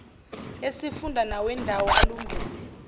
esifunda nawendawo alumbene